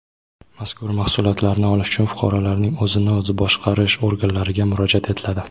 Mazkur mahsulotlarni olish uchun fuqarolarning o‘zini o‘zi boshqarish organlariga murojaat etiladi.